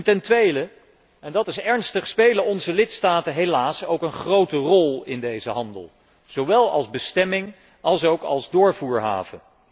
Ten tweede en dat is ernstig spelen onze lidstaten helaas ook een grote rol in deze handel, zowel als bestemming alsook als doorvoerhaven.